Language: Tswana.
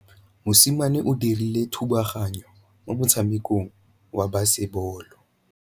Mosimane o dirile thubaganyô mo motshamekong wa basebôlô.